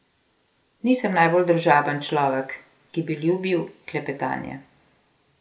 Nisem najbolj družaben človek, ki bi ljubil klepetanje.